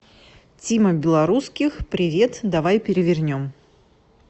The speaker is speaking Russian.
тима белорусских привет давай перевернем